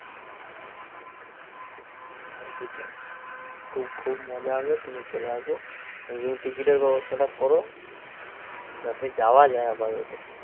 আর কী চাই! খুব খুব মজা হবে তুমি চলে আসো, তুমি ticket এর ব্যবস্থাটা কর, জাতে যাওয়া যায় আপাদত